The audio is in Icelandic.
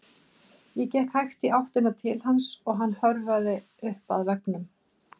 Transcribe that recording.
Ég gekk hægt í áttina til hans og hann hörfaði upp að veggnum.